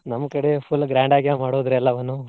ನಮ್ಮ ಕಡೆ full grand ಆಗೇ ಮಾಡೋದ್ರಿ ಎಲ್ಲವನ್ನು.